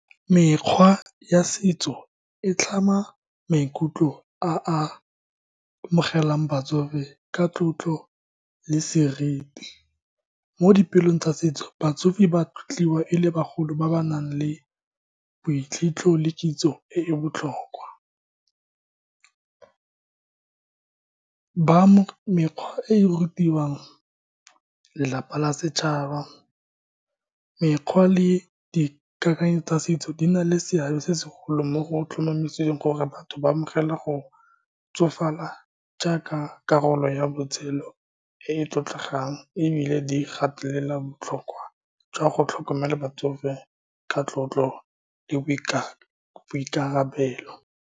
Mekgwa ya setso e tlhama maikutlo a a amogelang batsofe ka tlotlo le seriti mo dipelong tsa setso. Batsofe ba tlotliwa e le bagolo ba ba nang le le kitso e e botlhokwa, ba mo mekgwa e e rutiwang lelapa la setšhaba. Mekgwa le dikakanyo tsa setso di na le seabe se segolo mo go tlhomamiseng gore batho ba amogela go tsofala jaaka karolo ya botshelo e e tlotlegang, ebile di gatelela botlhokwa jwa go tlhokomela batsofe ka tlotlo, le boikanyo le boikarabelo.